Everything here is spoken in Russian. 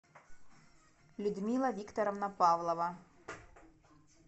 людмила викторовна павлова